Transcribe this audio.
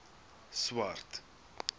swart